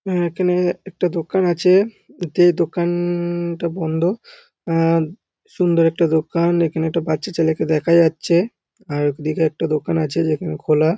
উম এখানে একটা দোকান আছে এতে দোকানটা বন্ধ। আহ সুন্দর একটা দোকান এখানে একটা বাচ্চা ছেলেকে দেখা যাচ্ছে আর ওইদিকে একটা দোকান আছে যেখানে খোলা--